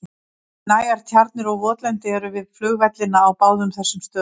Nægar tjarnir og votlendi eru við flugvellina á báðum þessum stöðum.